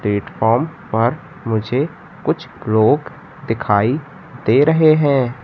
Platform पर मुझे कुछ लोग दिखाई दे रहे हैं।